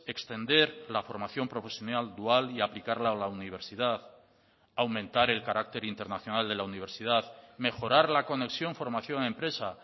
extender la formación profesional dual y aplicarla a la universidad aumentar el carácter internacional de la universidad mejorar la conexión formación empresa